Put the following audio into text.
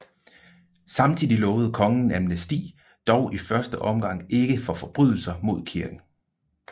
Samtidig lovede kongen amnesti dog i første omgang ikke for forbrydelser mod kirken